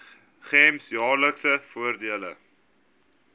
gems jaarlikse voordele